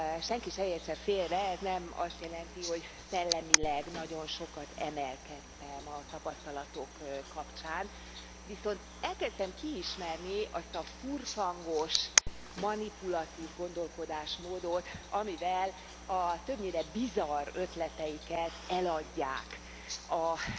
Senki se értse félre, ez nem azt jelenti, hogy szellemileg nagyon sokat emelkedtem a tapasztalatok kapcsán, viszont elkezdtem kiismerni azt a furfangos, manipulatív gondolkodásmódot, amivel a többnyire bizarr ötleteiket eladják a